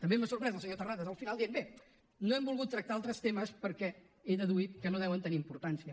també m’ha sorprès el senyor terrades al final dient bé no hem volgut tractar altres temes perquè he deduït que no deuen tenir importància